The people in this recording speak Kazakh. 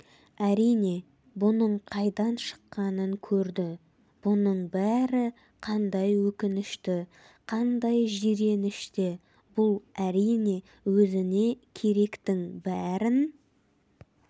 әрине бұның қайдан шыққанын көрді бұның бәрі қандай өкінішті қандай жиренішті бұл әрине өзіне керектің бәрін